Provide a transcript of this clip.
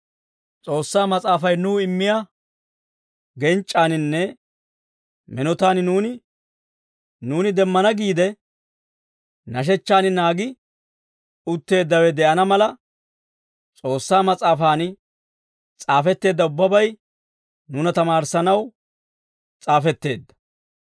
S'oossaa Mas'aafay nuw immiyaa genc'c'aaninne minotaan nuuni demmana giide nashechchaan naagi utteeddawe de'ana mala, S'oossaa Mas'aafan s'aafetteedda ubbabay nuuna tamaarissanaw s'aafetteedda.